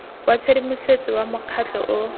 wa tshedimosetso wa mokgatlho o